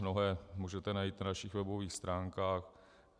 Mnohé můžete najít na našich webových stránkách.